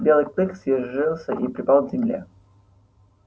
белый клык съёжился и припал к земле